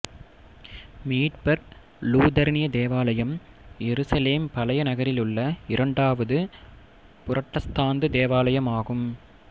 மீட்பர் லூதரனிய தேவாலயம் எருசலேம் பழைய நகரிலுள்ள இரண்டாவது புரட்டஸ்தாந்து தேவாலயமாகும்